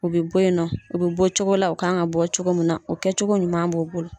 U bɛ bɔ yen nɔ, u bɛ bɔ cogo la u kan ka bɔ cogo mun na, o kɛ cogo ɲuman b'o bolo.